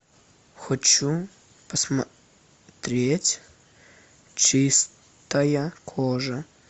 хочу посмотреть чистая кожа